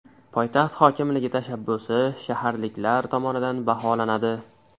Poytaxt hokimligi tashabbusi shaharliklar tomonidan baholanadi.